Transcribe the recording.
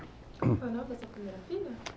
O nome dessa filha era filha?